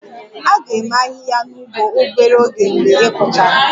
A ga-eme ahịhịa n'ugbo obere oge mgbe ị kụchara